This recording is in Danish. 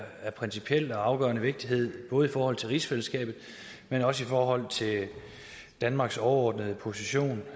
principiel og afgørende vigtighed både i forhold til rigsfællesskabet men også i forhold til danmarks overordnede position